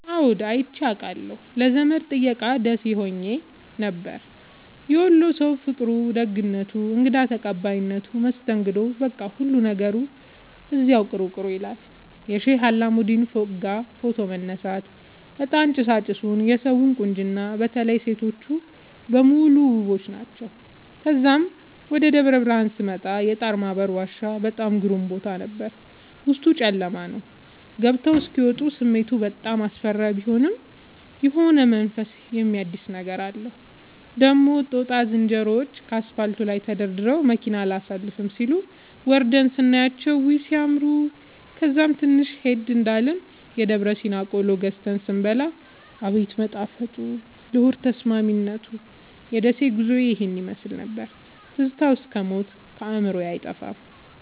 አዎድ አይቼ አቃለሁ ለዘመድ ጥየቃ ደሴ ኸሄ ነበር። የወሎ ሠዉ ፍቅሩ፣ ደግነቱ፣ እንግዳ ተቀባይነቱ መስተንግዶዉ በቃ ሁሉ ነገሩ እዚያዉ ቅሩ ቅሩ ይላል። የሼህ አላሙዲን ፎቅጋ ፎቶ መነሳት፤ እጣን ጭሣጭሡ የሠዉ ቁንጅና በተለይ ሤቶቹ በሙሉ ዉቦች ናቸዉ። ተዛም ወደ ደብረብርሀን ስመጣ የጣርማበር ዋሻ በጣም ግሩም ቦታ ነበር፤ ዉስጡ ጨለማ ነዉ ገብተዉ እስኪ ወጡ ስሜቱ በጣም አስፈሪ ቢሆንም የሆነ መንፈስን የሚያድስ ነገር አለዉ። ደግሞ ጦጣ ዝንሮዎቹ ከአስፓልቱ ላይ ተደርድረዉ መኪና አላሣልፍም ሢሉ፤ ወርደን ስናያቸዉ ዉይ! ሢያምሩ። ከዛም ትንሽ ሄድ እንዳልን የደብረሲና ቆሎ ገዝተን ስንበላ አቤት መጣፈጡ ለሆድ ተስማሚነቱ። የደሴ ጉዞዬ ይህን ይመሥል ነበር። ትዝታዉ እስክ ሞት ከአዕምሮየ አይጠፋም።